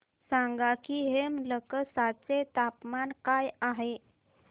सांगा की हेमलकसा चे तापमान काय आहे